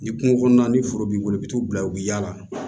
Ni kungo kɔnɔna ni foro b'i bolo i bɛ t'u bila u bɛ yaala